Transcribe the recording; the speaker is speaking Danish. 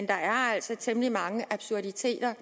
der er altså temmelig mange absurditeter